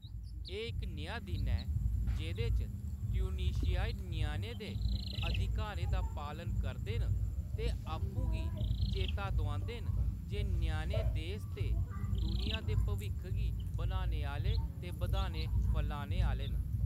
एह्‌‌ इक नेहा दिन ऐ जेह्‌‌‌दे च ट्यूनीशियाई ञ्याणें दे अधिकारें दा पालन करदे न ते आपूं गी चेता दोआंदे न जे ञ्याणे देस ते दुनिया दे भविक्ख गी बनाने आह्‌ले ते बधाने-फलाने आह्‌ले न।